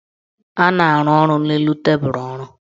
A na-arụ ọrụ n' elu tebulu ọrụ.